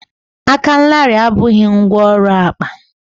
aka larịị abụghị ngwá ọrụ akpa